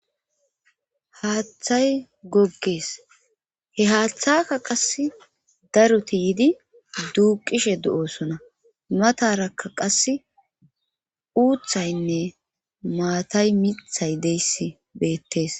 haaththay goggees he haaththaka qas daruti yidi duuqishe du7osona mataraka qas uuthaynne maatay mithay deyssi beettees